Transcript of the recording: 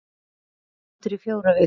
Hún stendur í fjórar vikur.